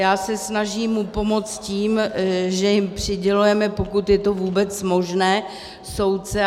Já se snažím mu pomoct tím, že jim přidělujeme, pokud je to vůbec možné, soudce.